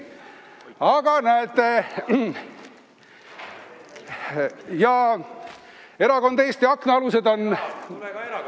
Aga näete, erakond Eesti Aknaalused tuleb.